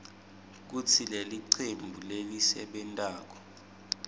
kutsi lelicembu lelisebentako